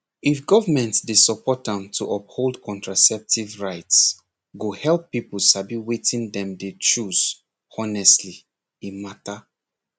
if government dey support am to uphold contraceptive rights go help people sabi wetin dem dey choose honestly e matter